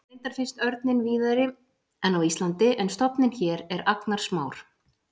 Reyndar finnst örninn víðari en á Íslandi en stofninn hér er agnarsmár.